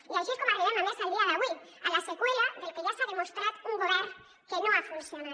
i així és com arribem a més al dia d’avui a la seqüela del que ja s’ha demostrat un govern que no ha funcionat